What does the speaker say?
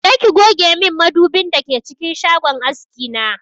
Je ki goge min madubin da ke cikin shagon aski na!